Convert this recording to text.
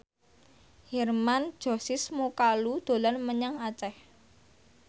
Hermann Josis Mokalu dolan menyang Aceh